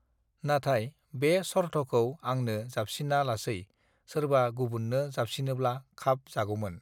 नाथाय बे सर्थखौ आंनो जाबसिना लासै सोरबा गुबुन्नो जाबसिनोब्ला खाब जागौमोन